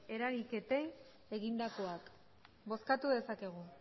eragiketei egindakoak bozkatu dezakegu